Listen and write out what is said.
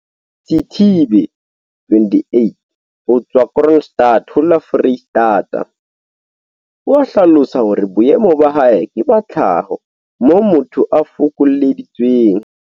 Sithibe, 28, ho tswa Kroonstad ho la Foreistata, o a hlalosa hore boemo ba hae ke ba tlhaho, moo motho a fokolleditsweng